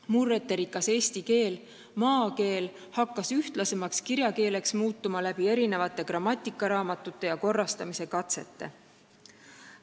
Murreterikas eesti keel ehk maakeel hakkas ühtlasemaks kirjakeeleks muutuma, kui olid ilmunud esimesed grammatikaraamatud ja tehtud muid keele korrastamise katseid.